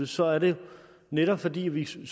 så er det netop fordi vi som